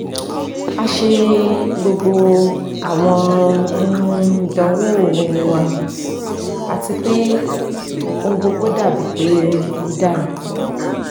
a ṣe gbogbo awọn um idanwo um wa ati pe ohun gbogbo dabi pe o dara